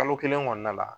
Kalo kelen kɔnɔna la